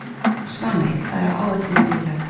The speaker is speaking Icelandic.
Svaney, hvað er á áætluninni minni í dag?